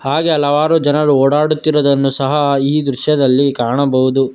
ಹಾಗೆ ಹಲವಾರು ಜನರು ಓಡಾಡುತ್ತಿರುವುದನ್ನು ಸಹ ಈ ದೃಶ್ಯದಲ್ಲಿ ಕಾಣಬಹುದು.